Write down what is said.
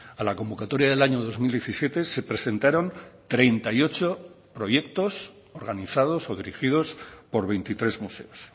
a la convocatoria del año dos mil diecisiete se presentaron treinta y ocho proyectos organizados o dirigidos por veintitrés museos